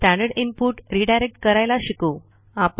standard input redirect करायला शिकू